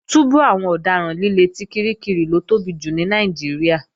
Túbú àwọn ọ̀daràn líle ti Kirikiri ló tóbi jù ní Nàìjíríà